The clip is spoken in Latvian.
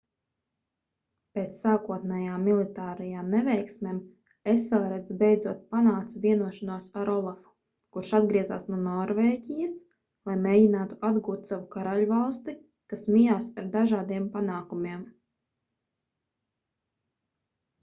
pēc sākotnējām militārajām neveiksmēm eselreds beidzot panāca vienošanos ar olafu kurš atgriezās no norvēģijas lai mēģinātu atgūt savu karaļvalsti kas mijās ar dažādiem panākumiem